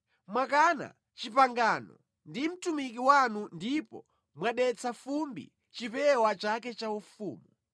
Mwakana pangano ndi mtumiki wanu ndipo mwadetsa mʼfumbi chipewa chake chaufumu.